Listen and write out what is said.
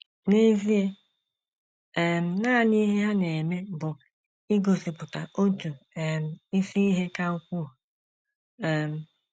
N’ezie, um nanị ihe ha na - eme bụ igosipụta otu um isi ihe ka ukwuu um.